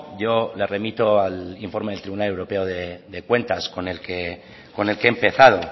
yo le remito al informe del tribunal europeo de cuentas con el que he empezado